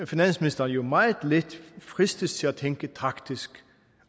finansministeren jo meget let fristes til at tænke taktisk